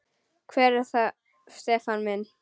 Hver er það Stefán minn?